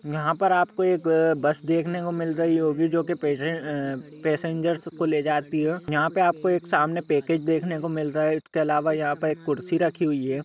यहां पर आप एक बस देख ने को मिल रही होगी जोकि पैसेंजर को लेके जाती है यहाँ पे एक सामने पैकेज देख ने को मिल रहः है इसके अलावा यहाँ पर एक खुरसी रखी है।